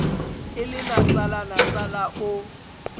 e le nasala nasala o